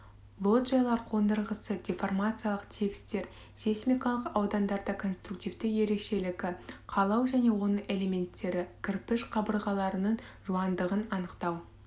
лоджиялар қондырғысы деформациялық тігістер сейсмикалық аудандарда конструктивті ерекшелігі қалау және оның элементтері кірпіш қабырғаларының жуандығын анықтау